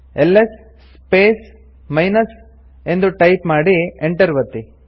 is space minus ಎಂದು type ಮಾಡಿ enter ಒತ್ತಿ